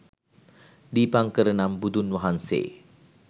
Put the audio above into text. දීපංකර නම් බුදුන් වහන්සේ